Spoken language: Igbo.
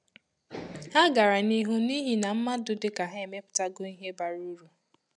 Ha gara n’ihu n’ihi na mmadụ dị ka ha emeputago ihe bara uru.